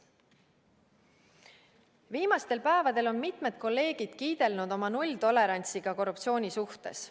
Viimastel päevadel on mitmed kolleegid kiidelnud oma nulltolerantsiga korruptsiooni suhtes.